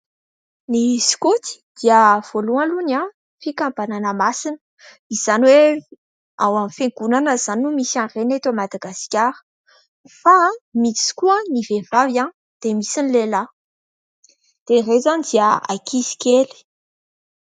Ny sokoto dia voalohany aloha, fikambanana masina, izany hoe ao amin'ny fiangonana izany no misy an'ireny eto Madagasikara. Fa misy koa ny vehivavy, dia misy ny lehilahy. Dia ireto izao dia ankizy kely.